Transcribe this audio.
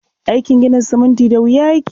Aikin ginin siminti da wuya yake.